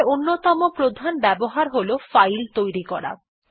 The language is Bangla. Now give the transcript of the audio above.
ক্যাট এর অন্যতম প্রধান ব্যবহার হল ফাইল তৈরি করা